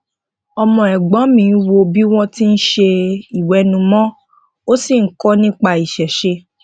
ọmọ ègbón mi wò bi wón ti n se iwenumo o si n kọ nipa isese